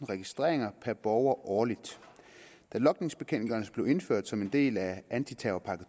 registreringer per borger årligt da logningsbekendtgørelsen blev indført som en del af anti terrorpakke